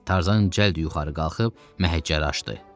Tarzan cəld yuxarı qalxıb məhəccəri açdı.